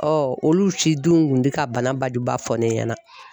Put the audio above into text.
olu si dun kun tɛ ka bana bajuba fɔ ne ɲɛna